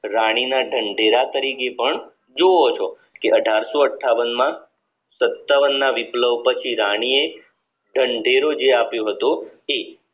રાણીના ઢંઢેરા તરીકે પણ જુવો છો અઢારસો અઠ્ઠાવન માં સત્તાવન ના વિપ્લવ પછી રાની એ ઢંઢેરો જે આપ્યો હતો એ